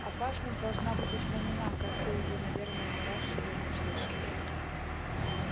опасность должна быть устранена как ты уже наверное не раз сегодня слышал